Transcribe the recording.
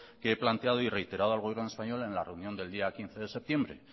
que he planteado y reiterado al gobierno español en la reunión del día quince de septiembre